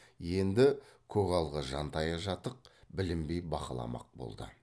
енді көгалға жантайы жатық білінбей бақыламақ болды